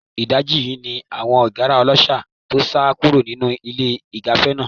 Ìdajì yìí ni àwọn ìgára ọlọ́ṣà tó sá kúrò nínú ilé-ìgbafẹ́ náà.